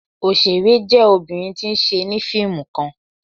Oṣere jẹ obinrin ti n ṣe ni fiimu kan